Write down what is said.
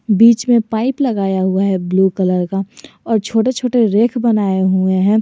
बीच में पाइप लगाया हुआ है ब्लू कलर का और छोटे छोटे रेक बनाए हुए हैं।